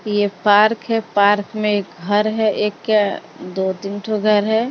ये पार्क है पार्क में एक घर है एक क्या अ दो तीन ठो घर है।